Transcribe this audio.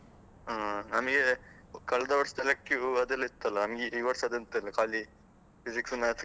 ಹಾ ನನ್ಗೆ ಕಳ್ದ ವರ್ಷದಲ್ಲಿ que ಅದೆಲ್ಲ ಇತ್ತಲ್ಲ, ನಮ್ಗೆ ಈ ವರ್ಷದ್ದ್ ಎಂತ ಇಲ್ಲ ಖಾಲಿ Physics Maths